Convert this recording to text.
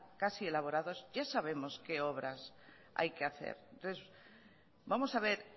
casi elaborados ya sabemos qué obras hay que hacer entonces vamos a ver